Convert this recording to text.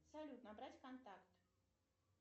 салют набрать контакт